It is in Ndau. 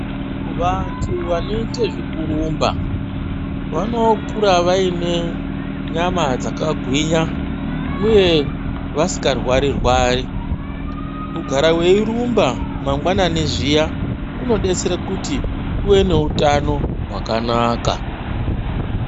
Vantu vanoite zvekurumba vanokura vane nyama dzakagwinya uye vasikarwari, kugara weirumba mangwanani zviya kunodetsere kuti uve neutano hwakanaka.